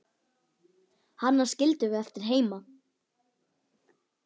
Hana skildum við eftir heima.